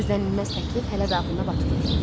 Gözlənilməz təklif hələ Dağlının da ağlına batmırdı.